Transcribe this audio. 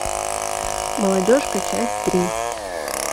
молодежка часть три